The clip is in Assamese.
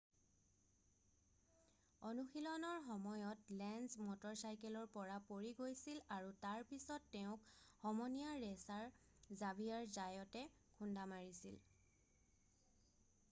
অনুশীলনৰ সময়ত লেঞ্জ মটৰচাইকেলৰ পৰা পৰি গৈছিল আৰু তাৰ পিছত তেওঁক সমনীয়া ৰেছাৰ জাভিয়াৰ জায়তে খুন্দা মাৰিছিল